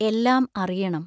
എല്ലാം അറിയണം.